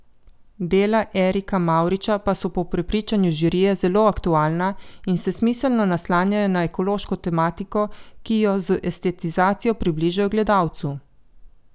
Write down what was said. Dela Erika Mavriča pa so po prepričanju žirije zelo aktualna in se smiselno naslanjajo na ekološko tematiko, ki jo z estetizacijo približajo gledalcu.